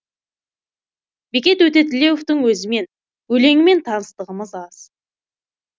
бекет өтетілеуовтің өзімен өлеңімен таныстығымыз аз